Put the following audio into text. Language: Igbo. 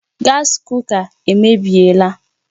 Gaasi kuka emebiela